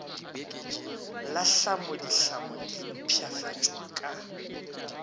la tlhamoditlhamo di mpshafatšwa ka